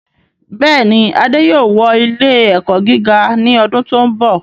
Bẹ́ẹ̀ni, Adé yóò wọ ilẹ́ ẹ̀kọ́ gíga ní ọdún tí ó ń bọ̀